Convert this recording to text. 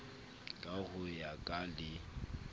ka ho ya ka le